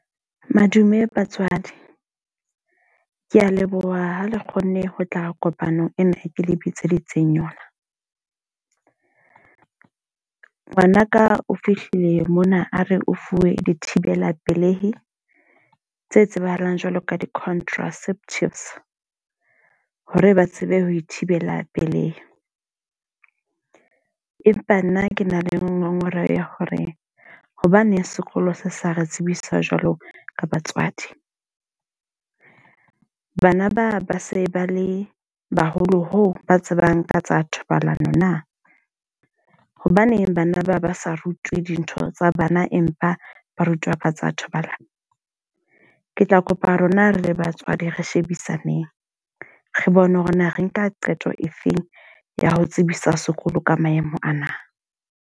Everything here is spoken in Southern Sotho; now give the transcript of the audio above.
Madume batswadi. Ke a leboha ha le kgonne ho tla kopanong ena e ke le bitseditseng yona. Ngwanaka o fihlile mona a re o fuwe di thibela pelehi, tse tsebahalang jwalo ka di-contraceptives. Hore ba tsebe ho ithibela pelehi. Empa nna ke na le ngongoreho ya hore hobaneng sekolo se sa re tsebisa jwalo ka batswadi. Bana ba ba se ba le baholo ho ba tsebang ka tsa thobalano na? Hobaneng bana ba ba sa rutwe dintho tsa bana, empa ba rutwa ka tsa thobalano? Ke tla kopa rona re le batswadi re shebisaneng, re bone hore na re nka qeto efeng ya ho tsebisa sekolo ka maemo ana.